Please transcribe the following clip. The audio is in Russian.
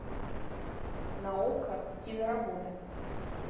на окко киноработа